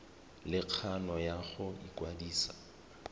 le kgano ya go ikwadisa